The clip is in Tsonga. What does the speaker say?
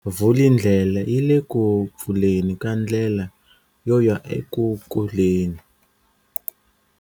Vulindlela yi le ku pfuleni ka ndlela yo ya eku kuleni.